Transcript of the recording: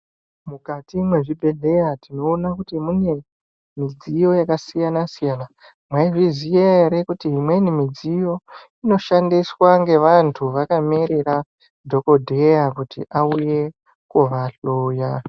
Mukati mwezvibhedhlera tinoona kuti mune midziyo yakasiyana siyana mwaizviziya ere kuti umweni mudziyo inoshandiswa ngevantu vakamirira dhokoteya kuti auye kovahloya.